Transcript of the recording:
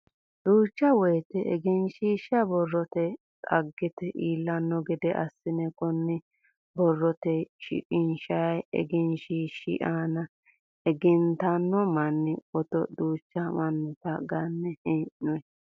Duucha woyiite egensiishsha borroteyi dagate iillanno gede assinanni. Konni borroteyi shiqinshayi egensiishshi aana egennantino manni foto duuchu mannita ganne hee'noyi.